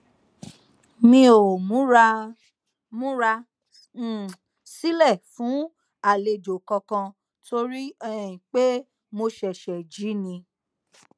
mi o mura mura um silẹ fun alejo kankan tori um pe mo ṣẹṣẹ ji ni